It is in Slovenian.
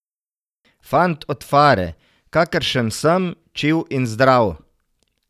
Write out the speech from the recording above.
Fant od fare, kakršen sem, čil in zdrav!